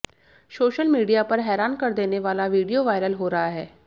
social media पर हैरान कर देने वाला वीडियो वायरल हो रहा है